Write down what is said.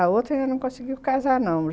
A outra ainda não conseguiu casar, não.